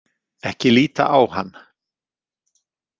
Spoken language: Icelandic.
Ekki líta á hann.